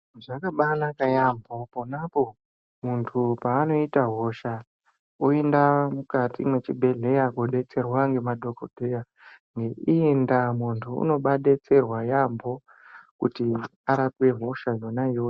Zvabanaka yaambo ponapo muntu paanoita hosha oenda mukati mwechibhedhleya kobetserwa ngemadhogodheya. Neiyi ndaa muntu unobabetsera yaambo kuti arape hosha yona iyoyo.